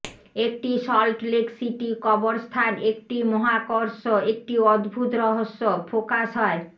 একটি Salt Lake City কবরস্থান একটি মহাকর্ষ একটি অদ্ভুত রহস্য ফোকাস হয়